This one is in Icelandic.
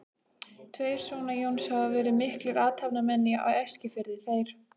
Tveir sona Jóns hafa verið miklir athafnamenn á Eskifirði, þeir